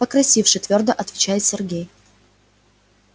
покрасивше твёрдо отвечает сергей